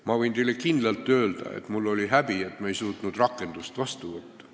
Ma võin teile ka kinnitada, et mul oli häbi, et me ei suutnud rakendamise seadust vastu võtta.